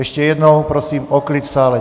Ještě jednou prosím o klid v sále.